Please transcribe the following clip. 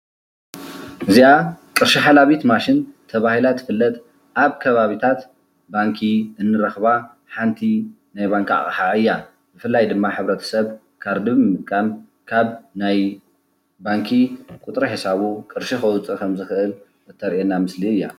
እዚኣ ቅርሺ ሓላቢት ማሽን ተባሂላ ትፍለጥ ኣብ ከባቢታት ባንኪ እንረኸባ ሓንቲ ናይ ባንኪ አቕሓ እያ ። ብፍላይ ድማ ሕ/ሰብ ካርዲ ብምጥቃም ካብ ናይ ባንኪ ቁፅሪ ሒሳቡ ቅርሺ ከውፅእ ከም ዝኽእል ተርእየና ምስሊ እያ ።